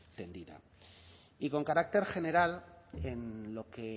tendida y con carácter general en lo que